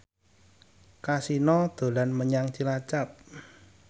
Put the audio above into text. Kasino dolan menyang Cilacap